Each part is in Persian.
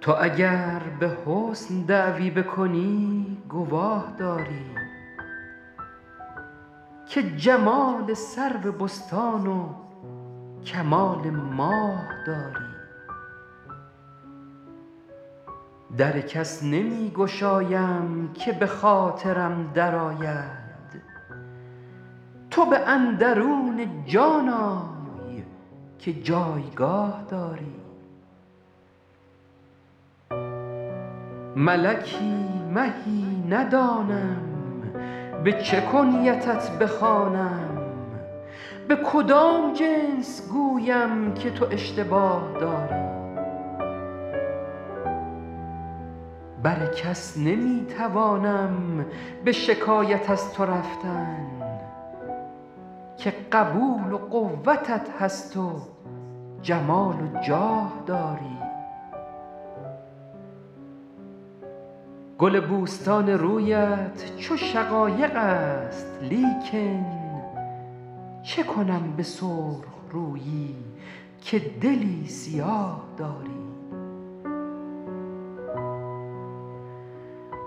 تو اگر به حسن دعوی بکنی گواه داری که جمال سرو بستان و کمال ماه داری در کس نمی گشایم که به خاطرم درآید تو به اندرون جان آی که جایگاه داری ملکی مهی ندانم به چه کنیتت بخوانم به کدام جنس گویم که تو اشتباه داری بر کس نمی توانم به شکایت از تو رفتن که قبول و قوتت هست و جمال و جاه داری گل بوستان رویت چو شقایق است لیکن چه کنم به سرخ رویی که دلی سیاه داری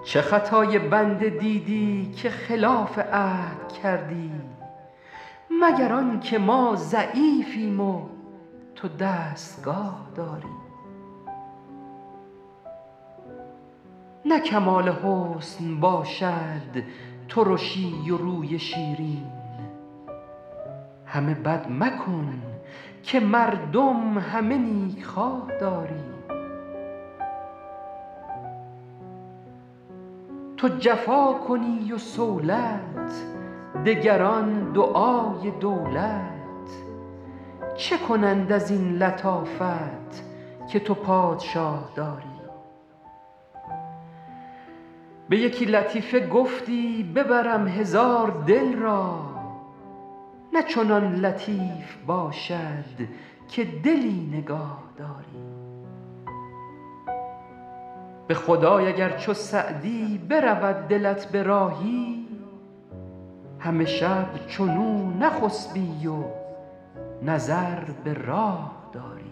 چه خطای بنده دیدی که خلاف عهد کردی مگر آن که ما ضعیفیم و تو دستگاه داری نه کمال حسن باشد ترشی و روی شیرین همه بد مکن که مردم همه نیکخواه داری تو جفا کنی و صولت دگران دعای دولت چه کنند از این لطافت که تو پادشاه داری به یکی لطیفه گفتی ببرم هزار دل را نه چنان لطیف باشد که دلی نگاه داری به خدای اگر چو سعدی برود دلت به راهی همه شب چنو نخسبی و نظر به راه داری